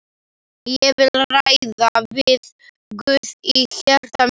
Ég vil ræða við Guð í hjarta mínu.